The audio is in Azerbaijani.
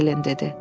Ellen dedi.